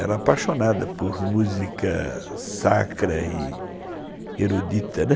Era apaixonada por música sacra e erudita, né.